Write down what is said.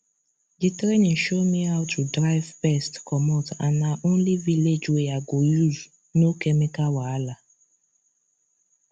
the training show me how to drive pest comot and na only village way i go use no chemical wahala